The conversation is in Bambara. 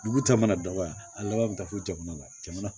Dugu ta mana dabɔ wa a laban bɛ taa fo jamana la jamana